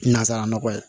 Nazsara nɔgɔɔ ye